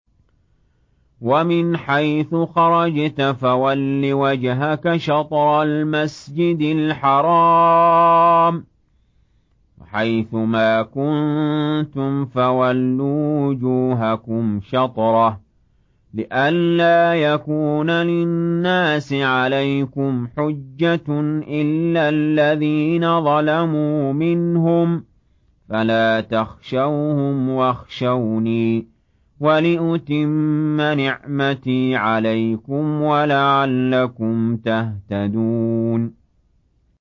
وَمِنْ حَيْثُ خَرَجْتَ فَوَلِّ وَجْهَكَ شَطْرَ الْمَسْجِدِ الْحَرَامِ ۚ وَحَيْثُ مَا كُنتُمْ فَوَلُّوا وُجُوهَكُمْ شَطْرَهُ لِئَلَّا يَكُونَ لِلنَّاسِ عَلَيْكُمْ حُجَّةٌ إِلَّا الَّذِينَ ظَلَمُوا مِنْهُمْ فَلَا تَخْشَوْهُمْ وَاخْشَوْنِي وَلِأُتِمَّ نِعْمَتِي عَلَيْكُمْ وَلَعَلَّكُمْ تَهْتَدُونَ